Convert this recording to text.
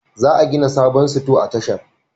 Za a gina sabon Sito a tashar